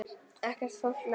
Ekkert fólk nálægt.